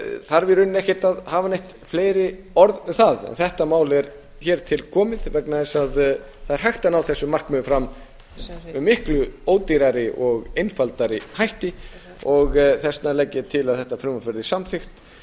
þarf í rauninni ekkert að hafa neitt fleiri orð um það þetta mál er hér til komið vegna þess að það er hægt að ná þessum markmiðum fram með miklu ódýrari og einfaldari hætti þess vegna legg ég til að þetta frumvarp verði samþykkt